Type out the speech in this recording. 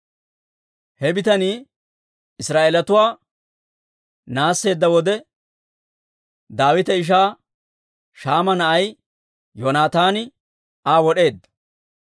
He bitanii Israa'eelatuwaa naasseedda wode, Daawita ishaa Shaama na'ay Yoonataani Aa wod'eedda.